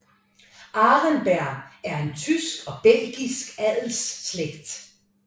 Arenberg er en tysk og belgisk adelsslægt